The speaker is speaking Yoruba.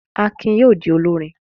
Akin yóò di olórin.